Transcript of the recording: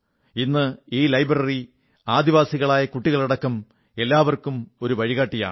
ഇന്ന് ഈ ലൈബ്രറി ആദിവാസികളായ കുട്ടികളടക്കം എല്ലാവർക്കും ഒരു വഴികാട്ടിയാണ്